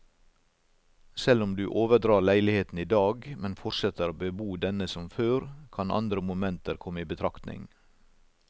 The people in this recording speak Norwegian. Selv om du overdrar leiligheten i dag, men fortsetter å bebo denne som før, kan andre momenter komme i betraktning.